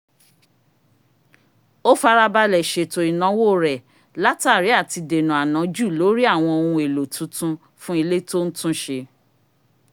ó farabalẹ̀ ṣèto ìnáwó rẹ̀ látàrí àti dèna ànájù lórí àwọn ohun èlò titun fún ilé tó ń tún ṣe